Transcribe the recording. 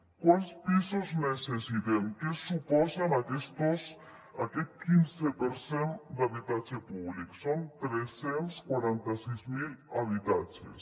quants pisos necessitem què suposa aquest quinze per cent d’habitatge públic són tres cents i quaranta sis mil habitatges